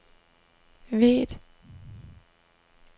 Væth